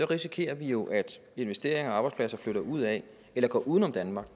risikerer vi jo at investeringer og arbejdspladser flytter ud af eller går uden om danmark